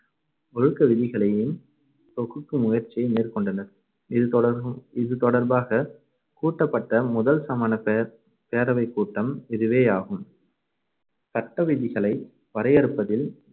ஒழுக்க விதிகளையும் தொகுக்கும் முயற்சியை மேற்கொண்டனர். இது தொடர்~ தொடர்பாக கூட்டப்பட்ட முதல் சமணப் பே~ பேரவைக்கூட்டம் இதுவேயாகும். சட்ட விதிகளை வரையறுப்பதில்